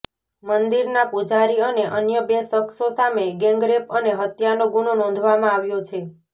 મંદિરના પૂજારી અને અન્ય બે શખ્સો સામે ગેંગરેપ અને હત્યાનો ગુનો નોંધવામાં આવ્યો છે